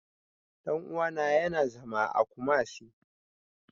Ɗan uwana ya na zama a Kumasi